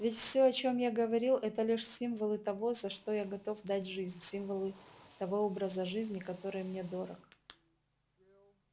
ведь всё о чем я говорил это лишь символы того за что я готов отдать жизнь символы того образа жизни который мне дорог